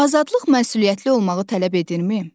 Azadlıq məsuliyyətli olmağı tələb edirmi?